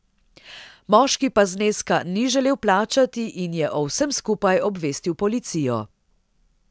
Moški pa zneska ni želel plačati in je o vsem skupaj obvestil policijo.